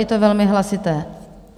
Je to velmi hlasité.